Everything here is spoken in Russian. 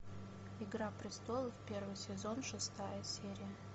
игра престолов первый сезон шестая серия